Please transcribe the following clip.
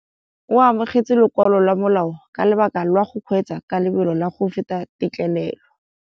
O amogetse lokwalô lwa molao ka lobaka lwa go kgweetsa ka lobelo la go feta têtlêlêlô.